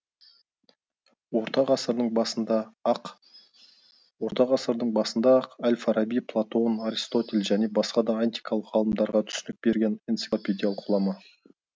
орта ғасырдың басында ақ орта ғасырдың басында ақ әл фараби платон аристотель және басқа да антикалық ғалымдарға түсінік берген энциклопедиялық ғұлама